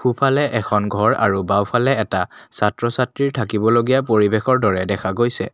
সোঁ ফালে এখন ঘৰ আৰু বাওঁ ফালে এটা ছাত্ৰ ছাত্ৰীৰ থাকিব লগীয়া পৰিৱেশৰ দৰে দেখা গৈছে।